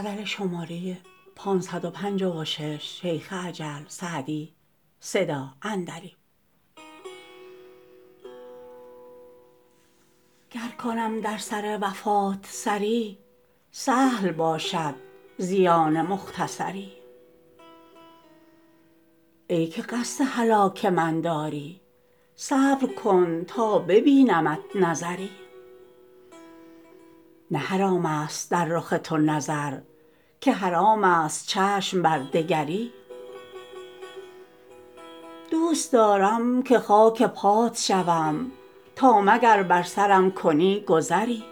گر کنم در سر وفات سری سهل باشد زیان مختصری ای که قصد هلاک من داری صبر کن تا ببینمت نظری نه حرام است در رخ تو نظر که حرام است چشم بر دگری دوست دارم که خاک پات شوم تا مگر بر سرم کنی گذری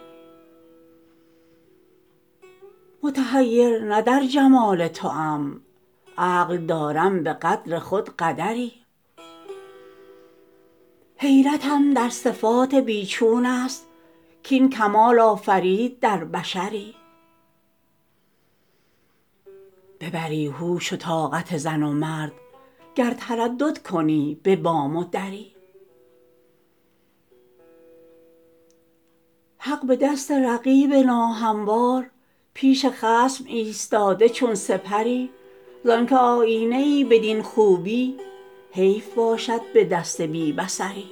متحیر نه در جمال توام عقل دارم به قدر خود قدری حیرتم در صفات بی چون است کاین کمال آفرید در بشری ببری هوش و طاقت زن و مرد گر تردد کنی به بام و دری حق به دست رقیب ناهموار پیش خصم ایستاده چون سپری زان که آیینه ای بدین خوبی حیف باشد به دست بی بصری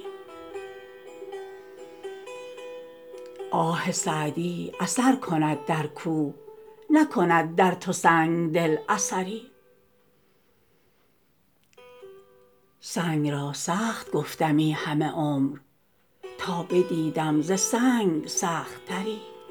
آه سعدی اثر کند در کوه نکند در تو سنگ دل اثری سنگ را سخت گفتمی همه عمر تا بدیدم ز سنگ سخت تری